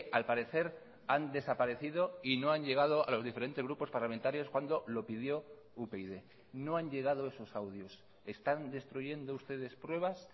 al parecer han desaparecido y no han llegado a los diferentes grupos parlamentarios cuando lo pidió upyd no han llegado esos audios están destruyendo ustedes pruebas